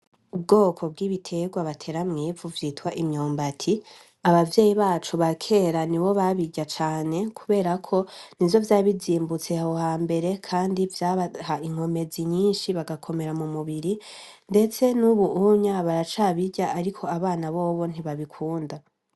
Ubwoko bw’ibiterwa batera mw’ivu vyitwa imyimbati , abavyeyi bacu ba kera nibo babirya cane kubera ko n’ivyo vyari bizimbutse aho hambwere kandi vyabaha inkomezi nyinshi barakomera mu mubiri ndetse n’ubu baracabirya ariko abana bobo ntibabikunda.